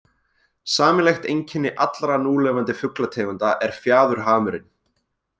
Sameiginlegt einkenni allra núlifandi fuglategunda er fjaðurhamurinn.